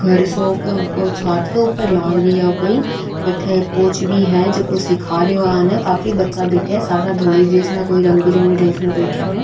घर सो छत के ऊपर लाग रिया कोई बट कोच भी है जको सीखा रहियो सारा धोरे घर सो छत के ऊपर लाग रिया कोई बट कोच भी है कुछ सीखा रहियो सारा धोली ड्रेस में कोई रंग बिरंगी ड्रेस में बैठा है।